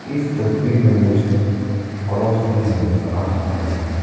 इस तस्वीर में मुझे क्रॉस भी नज़र आ रहा है।